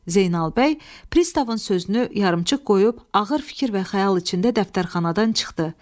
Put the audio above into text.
Zeynal bəy pristavın sözünü yarımçıq qoyub ağır fikir və xəyal içində dəftərxanadan çıxdı.